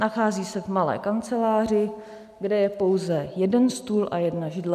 Nachází se v malé kanceláři, kde je pouze jeden stůl a jedna židle.